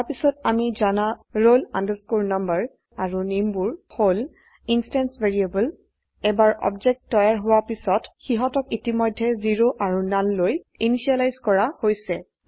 তাৰপিছত আমি জানা roll number আৰু nameবোৰ হল ইন্সট্যান্স ভ্যাৰিয়েবল এবাৰ অবজেক্ট তৈয়াৰ হোৱা পিছত সিহতক ইতিমধ্যে 0 আৰু nullলৈ ইনিসিয়েলাইজ কৰা হৈছে